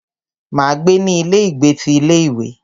Máa gbé ní ilé ìgbé ti ilé ìwé.